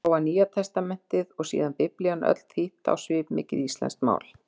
Þá var Nýjatestamentið, og síðan Biblían öll þýdd á svipmikið íslenskt mál.